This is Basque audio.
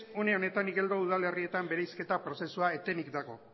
une honetan igeldo udalerrietan bereizketa prozesua etenik dago